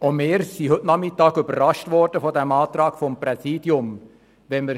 Auch wir sind heute Nachmittag vom Antrag des Präsidiums überrascht worden.